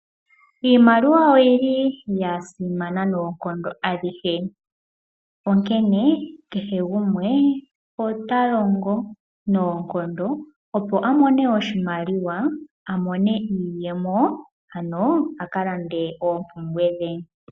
Iimaliwa oyili ya simana noonkondo adhihe, onkene kehe gumwe otalongo noonkondo opo amone oshimaliwa, amone iiyemo ano aka lande oompumbwe dhe.